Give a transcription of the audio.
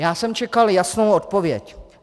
Já jsem čekal jasnou odpověď.